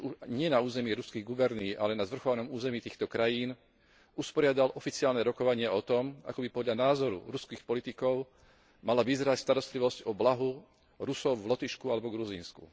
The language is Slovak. nie na území ruských gubernií, ale na zvrchovanom území týchto krajín, usporiadal oficiálne rokovania o tom, ako by podľa názoru ruských politikov mala vyzerať starostlivosť o blaho Rusov v Lotyšsku alebo v Gruzínsku?